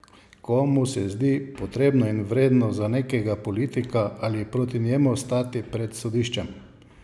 Komu se zdi potrebno in vredno za nekega politika ali proti njemu stati pred sodiščem?